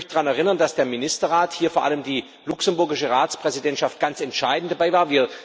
Ich möchte daran erinnern, dass der Ministerrat hier vor allem die luxemburgische Ratspräsidentschaft ganz entscheidend dabei war.